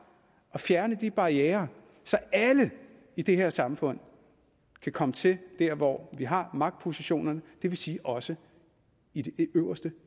at fjerne barrierer så alle i det her samfund kan komme til der hvor vi har magtpositionerne det vil sige også i det øverste